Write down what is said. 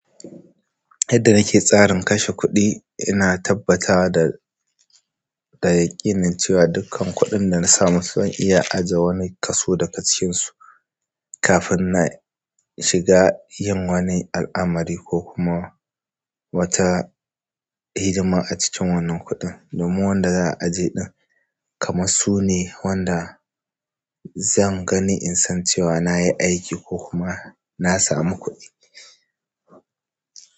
Yadda nake tsarin kashe kuɗi, ina tabbata da da yaƙinin cewa dukkan kuɗin dana samu zan iya ajiye wani kaso daga cikin su kafin na shiga yin wani al'amari ko kuma. Wata hidima a cikin wannan kuɗin. Domin wanda za'a aje ɗin kamas sune wanda zan gani isan cewa nayi aiki ko kuma na samu kuɗi.